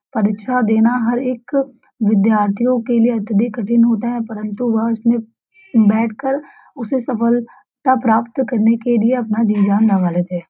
परीक्षा देना हर एक विद्यार्थियों के लिए अत्यअधिक कठिन होता है परन्तु वह उसमें बैठकर उसे सफलता प्राप्त करने के लिए अपना जी-जान लगा लेते हैं।